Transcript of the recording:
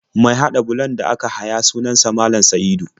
Mai haɗa bulon da aka haya sunan sa Malam Sa'idu.